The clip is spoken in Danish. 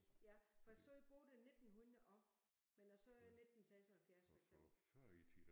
Ja for jeg sagde både 1900 og men jeg sagde 1976 for eksempel